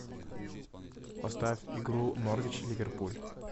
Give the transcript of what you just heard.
поставь игру норвич ливерпуль